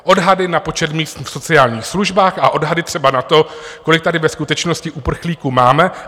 Odhady na počet míst v sociálních službách a odhady třeba na to, kolik tady ve skutečnosti uprchlíků máme.